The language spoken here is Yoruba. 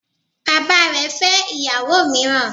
Bàbá rẹ fẹ́ ìyàwó míràn